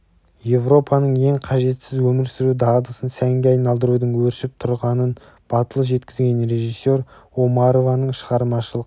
еуропаның ең қажетсіз өмір сүру дағдысын сәнге айналдырудың өршіп тұрғанын батыл жеткізген режиссер омарованың шығармашылық